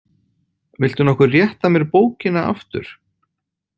Viltu nokkuð rétta mér bókina aftur?